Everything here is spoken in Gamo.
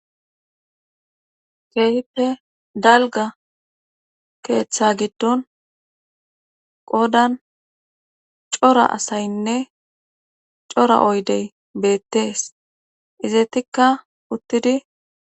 keehippe dalga keeththa giddon qodan cora asaynne cora oydey beettees izeetikka uttidi